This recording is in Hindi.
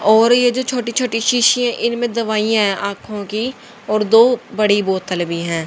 और ये जो छोटी छोटी शीशीये इनमें दवाइयां आंखों की और दो बड़ी बोतल भी है।